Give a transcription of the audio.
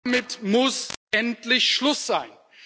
Damit muss endlich Schluss sein!